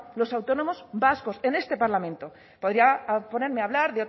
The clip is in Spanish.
los autónomos vascos en este parlamento podría ponerme a hablar